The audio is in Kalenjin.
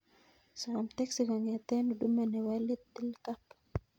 Som teksi kongeten huduma nepo little cab